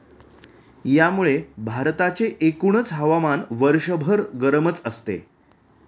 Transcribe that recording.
यामुळे भारताचे एकूणच हवामान वर्षभर गरमच असते.